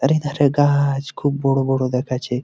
আরে ধারে গা-আ-আ-ছ খুব বড় বড় দেখাচ্ছে।